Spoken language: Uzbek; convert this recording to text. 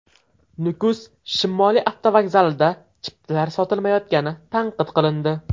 Nukus shimoliy avtovokzalida chiptalar sotilmayotgani tanqid qilindi.